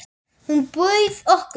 Hún bauð okkur.